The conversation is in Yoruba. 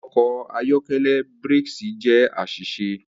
Awọn ọkọ ayọkẹlẹ brakes jẹ aṣiṣe.